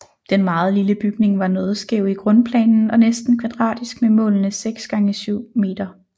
Den meget lille bygning var noget skæv i grundplanen og næsten kvadratisk med målene 6 x 7 m